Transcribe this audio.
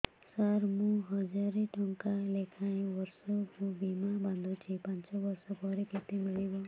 ସାର ମୁଁ ହଜାରେ ଟଂକା ଲେଖାଏଁ ବର୍ଷକୁ ବୀମା ବାଂଧୁଛି ପାଞ୍ଚ ବର୍ଷ ପରେ କେତେ ମିଳିବ